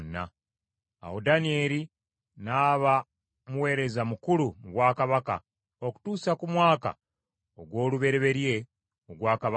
Awo Danyeri n’aba muweereza mukulu mu bwakabaka okutuusa ku mwaka ogw’olubereberye ogwa Kabaka Kuulo.